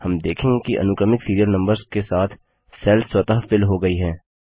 हम देखेंगे कि अनुक्रमिक सीरियल नम्बर्स के साथ सेल्स स्वतः फिल हो गई हैं